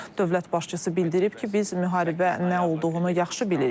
Dövlət başçısı bildirib ki, biz müharibə nə olduğunu yaxşı bilirik.